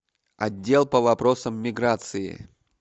отдел по вопросам миграции